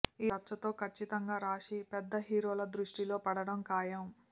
ఈ రచ్చతో ఖచ్చితంగా రాషి పెద్ద హీరోల దృష్టిలో పడడం ఖాయం